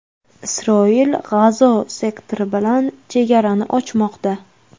Isroil G‘azo sektori bilan chegarani ochmoqda.